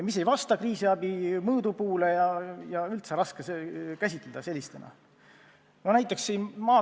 Need ei vasta kriisiabi mõõdupuule, neid on raske käsitada kriisiabina.